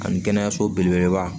Ani kɛnɛyaso belebeleba